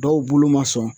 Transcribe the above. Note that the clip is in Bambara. Dɔw bolo ma sɔn